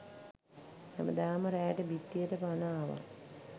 හැමදාම රෑට බිත්තියට පණ ආවා.